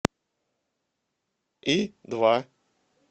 и два